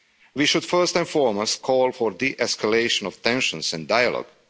We should first and foremost call for a de escalation of tensions and dialogue.